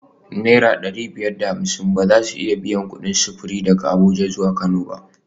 Naira dari biyar da hamsin ba za su iya biyan kudin sufuri daga Abuja zuwa Kano ba